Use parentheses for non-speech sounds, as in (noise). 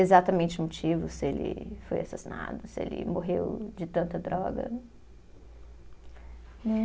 Exatamente motivo se ele foi assassinado, se ele morreu de tanta droga. (unintelligible)